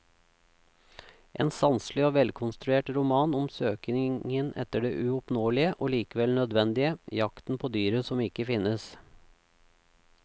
En sanselig og velkonstruert roman om søkingen etter det uoppnåelige og likevel nødvendige, jakten på dyret som ikke finnes.